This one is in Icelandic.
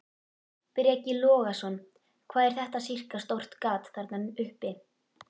Breki Logason: Hvað er þetta sirka stórt gat þarna uppi?